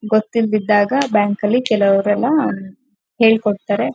ಗೊತ್ತಿಲ್ ದಿದ್ದಾಗ ಬ್ಯಾಂಕಲ್ಲಿ ಕೆಲವರೆಲ್ಲಾ ಅಂ ಹೇಳ್ಕೊಡ್ತಾರೆ .